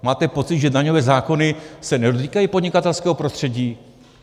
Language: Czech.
Máte pocit, že daňové zákony se nedotýkají podnikatelského prostředí?